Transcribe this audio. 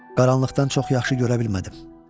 Qaranlıqdan çox yaxşı görə bilmədim.